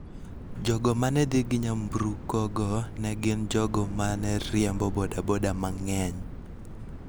Jogo ma ne dhi gi nyamburkogo ne gin jogo ma ne riembo boda boda mang�eny.